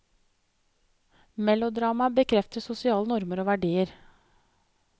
Melodramaet bekrefter sosiale normer og verdier.